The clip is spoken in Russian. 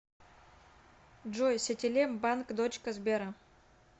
джой сетелем банк дочка сбера